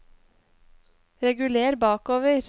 reguler bakover